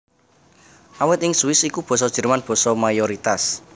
Awit ing Swiss iku Basa Jerman basa mayoritas